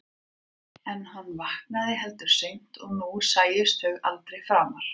En hann hafði vaknað heldur seint og nú sæjust þau aldrei framar.